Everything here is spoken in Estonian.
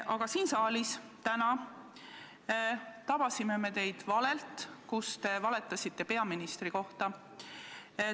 Aga siin saalis täna me tabasime teid valelt, kui te valetasite peaministri kohta.